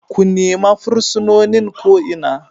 Ku nima fursunonin ko Ina!